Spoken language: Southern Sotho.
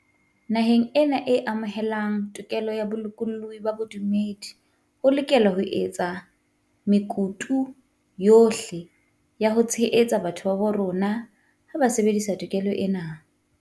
Naheng ena e amohelang tokelo ya bolokolohi ba bodumedi, ho lokelwa ho etswa mekutu yohle ya ho tshehetsa batho ba bo rona ha ba sebedisa to kelo ena.